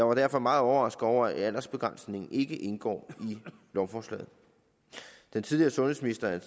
er derfor meget overrasket over at aldersbegrænsning ikke indgår i lovforslaget den tidligere sundhedsminister